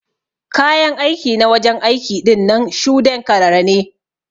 Kayan aiki na wajen aiki ɗinnan shude'n karara ne.